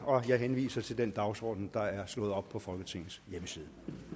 jeg henviser til den dagsorden der er slået op på folketingets hjemmeside